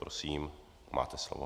Prosím, máte slovo.